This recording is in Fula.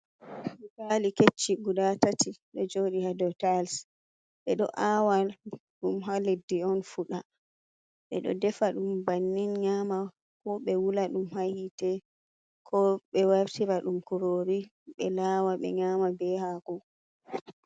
"Butali"kecci guda tati do joɗi ha dou tayils ɓeɗo awa ɗum ha leddi on fuɗa ɓeɗo defa ɗum bannin nyama ko ɓe wula ɗum ha hite ko be wartira ɗum m kurori be lawa ɓe nyama be hako.